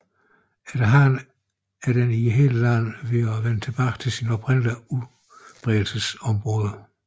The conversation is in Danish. Efterhånden er den i hele landet ved at vende tilbage til sit oprindelige udbredelsesområde